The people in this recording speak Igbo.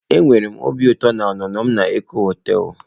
Ee enwere m obi ụtọ na ọnụnọ m na Eko hoteelu.